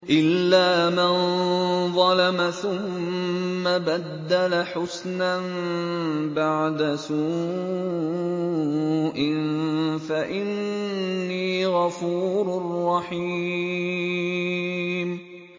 إِلَّا مَن ظَلَمَ ثُمَّ بَدَّلَ حُسْنًا بَعْدَ سُوءٍ فَإِنِّي غَفُورٌ رَّحِيمٌ